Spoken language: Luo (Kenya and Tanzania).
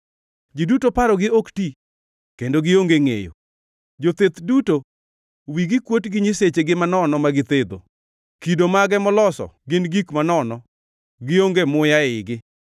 Ji duto parogi ok ti kendo gionge ngʼeyo; jotheth duto wigi kuot gi nyisechegi manono ma githedho. Kido mage moloso gin gik manono; gionge muya eigi.